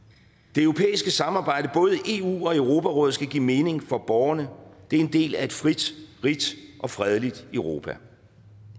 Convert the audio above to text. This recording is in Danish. det europæiske samarbejde både i eu og i europarådet skal give mening for borgerne det er en del af et frit rigt og fredeligt europa